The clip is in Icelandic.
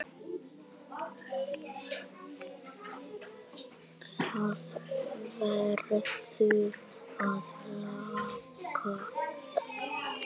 Það verður að laga.